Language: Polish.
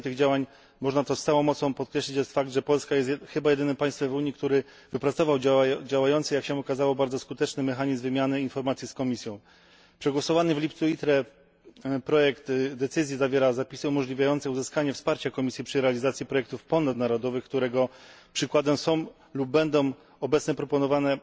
Efektem tych działań, można to z całą mocą podkreślić, jest fakt, że Polska jest chyba jedynym państwem w Unii, które wypracowało działający, jak się okazało, bardzo skuteczny, mechanizm wymiany informacji z Komisją. Przegłosowany w lipcu w komisji ITRE projekt decyzji zawiera zapisy umożliwiające uzyskanie wsparcia Komisji przy realizacji projektów ponadnarodowych, których przykładem są lub będą obecnie proponowane